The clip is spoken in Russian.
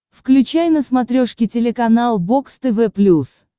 включай на смотрешке телеканал бокс тв плюс